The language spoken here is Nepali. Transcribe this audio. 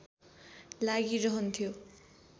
लागी रहन्थ्यो